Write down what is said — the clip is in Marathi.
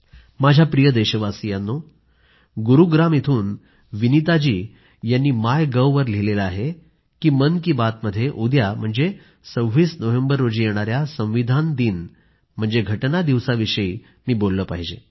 माझ्या प्रिय देशवासियांनो गुरुग्राम इथून विनीता जी यांनी मायगव्हवर लिहिले आहे की मन की बात मध्ये उद्या म्हणजे 26 नोव्हेंबर रोजी येणाऱ्या संविधान दिन म्हणजे राज्यघटना दिवसाविषयी मी बोललं पाहिजे